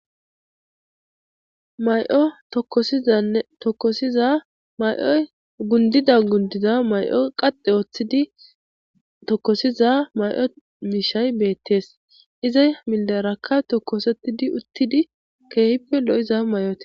may7o tokosizanne tokosiza may7oy gundida gundiza may7o qaxe ooththidi tokosiza may7o mishay beettees izay milderaka tokosettidi uttidi keehippe lo7iza may7oti